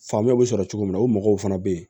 Faamuyaw bɛ sɔrɔ cogo min na u mɔgɔw fana bɛ yen